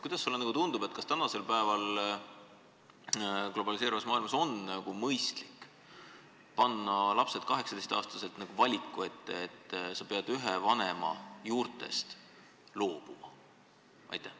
Kuidas sulle tundub, kas tänasel päeval on globaliseeruvas maailmas mõistlik panna lapsed 18-aastaselt valiku ette, et sa pead ühe vanema juurtest loobuma?